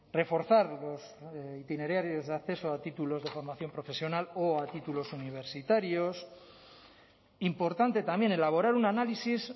reforzar los itinerarios de acceso a títulos de formación profesional o a títulos universitarios importante también elaborar un análisis